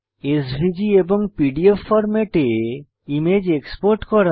SVG এবং PDF ফরম্যাটে image export করা